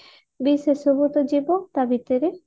ସେସବୁ ତ ଯିବ ତା ଭୀତରେ